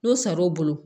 N'o saraw bolo